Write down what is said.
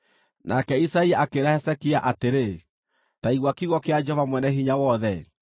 Nake Isaia akĩĩra Hezekia atĩrĩ, “Ta igua kiugo kĩa Jehova Mwene-Hinya-Wothe: